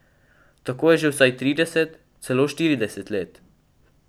Tako je že vsaj trideset, celo štirideset let.